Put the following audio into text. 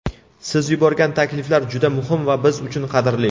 Siz yuborgan takliflar juda muhim va biz uchun qadrli.